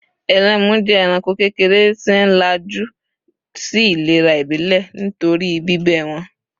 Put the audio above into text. Ẹlému jẹ́ ẹranko kékeré tí ń ńlájú sí ìlera ìbílè nítorí bíbẹ́ wọn.